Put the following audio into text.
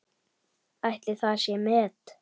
Ætli það sé met?